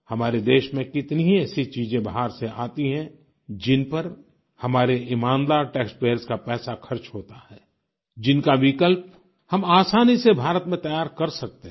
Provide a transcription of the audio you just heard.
हमारे देश में कितनी ही ऐसी चीजें बाहर से आती हैं जिन पर हमारे ईमानदार टैक्स पेयर्स का पैसा खर्च होता है जिनका विकल्प हम आसानी से भारत में तैयार कर सकते हैं